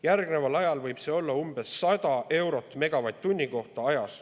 Järgneval ajal võib see olla umbes 100 eurot megavatt-tunni kohta.